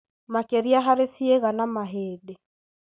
makĩria harĩ ciĩga na mahĩndĩ.